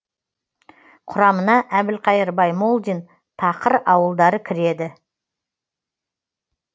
құрамына әбілқайыр баймолдин тақыр ауылдары кіреді